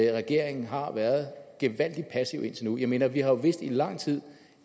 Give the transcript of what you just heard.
at regeringen har været gevaldig passiv indtil nu jeg mener vi har jo vidst i lang tid